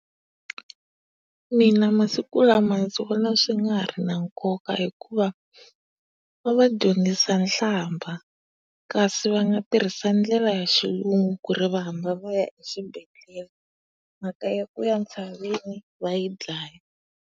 Mina masiku lama ndzi vona swi nga ha ri nkoka hikuva va va dyondzisa nhlambha. Kasi va nga tihisa ndlela ya xilungu ku ri va hamba va ya exibedhlele, mhaka ya ku ya ntshaveni va yi dlaya.